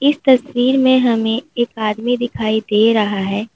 तस्वीर में हमें एक आदमी दिखाई दे रहा है।